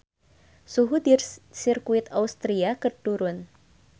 Suhu di Sirkuit Austria keur turun